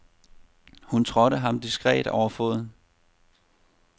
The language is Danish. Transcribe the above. Hun trådte ham diskret over foden.